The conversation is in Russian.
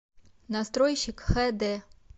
настройщик хд